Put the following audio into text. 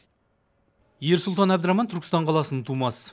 ерсұлтан әбдіраман түркістан қаласының тумасы